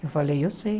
Eu falei, eu sei.